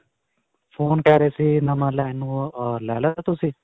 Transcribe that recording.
Phone ਕਿਹ ਰਹੇ ਸੀ, ਨਵਾਂ ਲੈਣ ਨੂੰ. ਅਅ ਲੈ ਲਿਆ ਸੀ ਤੁਸੀਂ?